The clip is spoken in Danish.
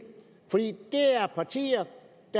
for det er partier